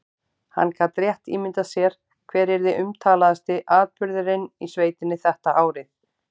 Hann gat rétt ímyndað sér hver yrði umtalaðasti atburðurinn í sveitinni þetta árið.